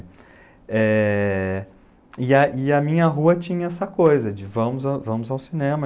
É... e, e a minha rua tinha essa coisa de vamos ao cinema.